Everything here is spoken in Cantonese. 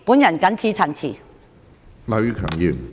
我謹此陳辭。